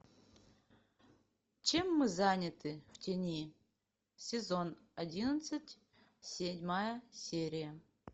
чем мы заняты в тени сезон одиннадцать седьмая серия